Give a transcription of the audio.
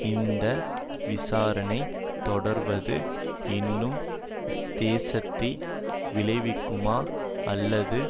இந்த விசாரணை தொடர்வது இன்னும் சேதத்தை விளைவிக்குமா அல்லது